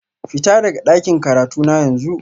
Fita daga dakin karatuna yanzu